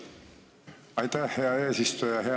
Aitäh, hea eesistuja!